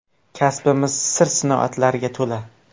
Kasbimiz sir-sinoatlarga to‘la.